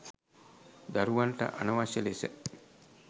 දරුවන්ට අනවශ්‍ය ලෙස